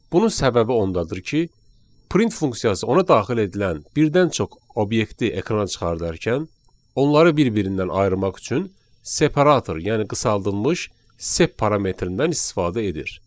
Bunun səbəbi ondadır ki, print funksiyası ona daxil edilən birdən çox obyekti ekrana çıxardarkən onları bir-birindən ayırmaq üçün separator, yəni qısaldılmış sep parametrindən istifadə edir.